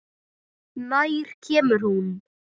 Nær kemur hún?